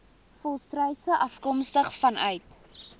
volstruise afkomstig vanuit